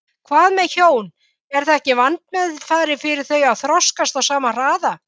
Hvað með hjón, er ekki vandmeðfarið fyrir þau að þroskast á sama hraða?